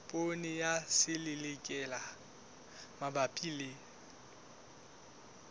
poone ya selelekela mabapi le